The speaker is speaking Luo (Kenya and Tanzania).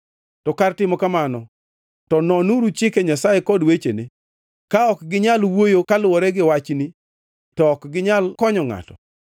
To kar timo kamano to nonuru chike Nyasaye kod wechene! Ka ok ginyal wuoyo kaluwore gi wachni to ok ginyal konyo ngʼato.